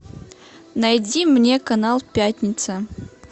найди мне канал пятница